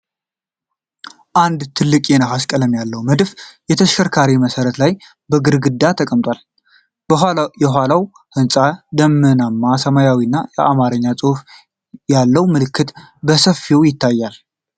አንድ ትልቅ የነሐስ ቀለም ያለው መድፍ በተሽከርካሪ መሠረት ላይ በግርማ ተቀምጧል። ከኋላው ህንጻዎች፣ ደመናማ ሰማይ እና የአማርኛ ጽሑፍ ያለው ምልክት በሰፊው ይታያል።